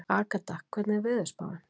Agatha, hvernig er veðurspáin?